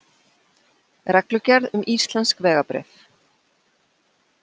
Reglugerð um íslensk vegabréf.